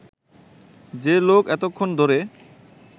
যে লোক এতক্ষণ ধরে